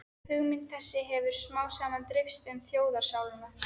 Hugmynd þessi hefir smámsaman dreifst um þjóðarsálina